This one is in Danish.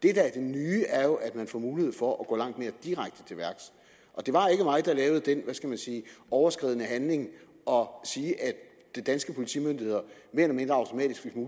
er det nye er jo at man får mulighed for at gå langt mere direkte til værks det var ikke mig der lavede den hvad skal man sige overskridende handling at sige at de danske politimyndigheder